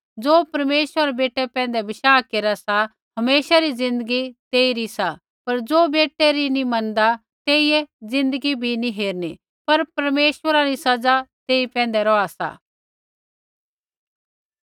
ज़ो परमेश्वरा रै बेटै पैंधै बशाह केरा सा हमेशा री ज़िन्दगी तेइरी सा पर ज़ो बेटै री नी मनदा तेइयै ज़िन्दगी भी नैंई हेरणी पर परमेश्वरा री सज़ा तेई पैंधै रौहा सा